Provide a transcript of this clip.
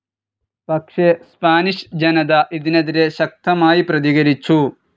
പക്ഷെ സ്പാനിഷ് ജനത ഇതിനെതിരെ ശക്തമായി പ്രതികരിച്ചു.